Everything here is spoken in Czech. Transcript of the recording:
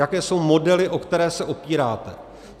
Jaké jsou modely, o které se opíráte?